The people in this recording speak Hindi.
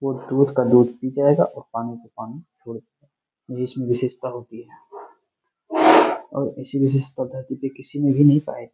और दूध का दूध हो जाएगा पानी का पानी हो जाएगा जिसमें विशेषता होती है इसी विशेषता के --